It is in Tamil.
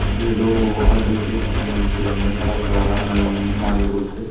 இது ஏதோ ஆர்டர் கேக் பண்ணி வச்சிருக்காங்க கலர் கலரா நல்லா மாடல் போட்டு.